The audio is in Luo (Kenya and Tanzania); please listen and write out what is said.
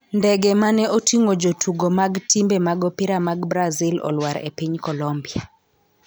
Ndege mane oting'o jotugo mag timbe mag opira mag Brazil olwar e piny Colombia